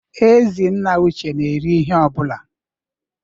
Ezi nna Uche n'eri ihe ọ bụla.